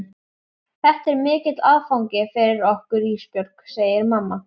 Þetta er mikill áfangi fyrir okkur Ísbjörg, segir mamma.